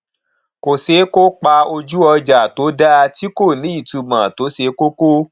kò ṣeé kó pa ojú ọjà tó dá tí kò ní itumọ tó ṣe kókó